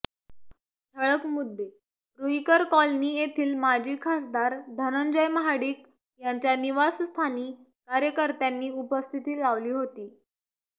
ठळक मुद्देरुईकर कॉलनी येथील माजी खासदार धनंजय महाडिक यांच्या निवासस्थानी कार्यकर्त्यांनी उपस्थिती लावली होती